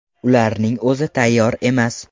Ularning o‘zi tayyor emas.